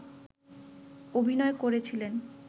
অভিনয় করেছিলেন